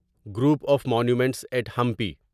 group of monuments at Hampi